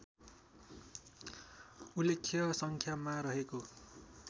उल्लेख्य सङ्ख्यामा रहेको